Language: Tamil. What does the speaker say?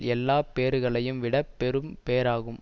எல்லா பேறுகளையும் விட பெரும் பேறாகும்